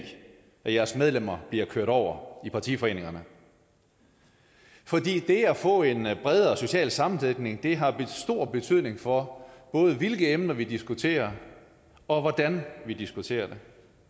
at jeres medlemmer bliver kørt over i partiforeningerne for det at få en bredere social sammensætning har stor betydning for både hvilke emner vi diskuterer og hvordan vi diskuterer dem